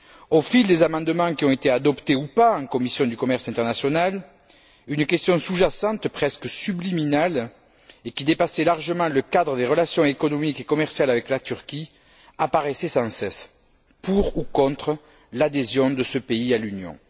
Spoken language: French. Au fil des amendements qui ont été adoptés, ou pas, en commission du commerce international, une question sous jacente, presque subliminale, et qui dépassait largement le cadre des relations économiques et commerciales avec la Turquie, apparaissait sans cesse pour ou contre l'adhésion de ce pays à l'Union?